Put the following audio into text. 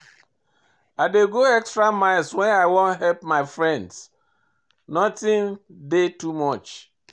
I dey go extra miles wen I wan help my friends, notin dey too much.